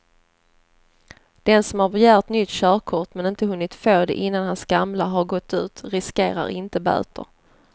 Den som har begärt nytt körkort men inte hunnit få det innan hans gamla har gått ut riskerar inte böter.